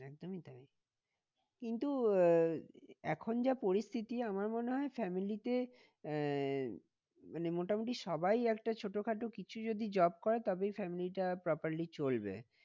একদমই তাই কিন্তু আহ এখন যা পরিস্থিতি আমার মনে হয় family তে আহ মানে মোটামুটি সবাই একটা ছোটখাটো কিছু যদি job করে তবেই family টা properly চলবে।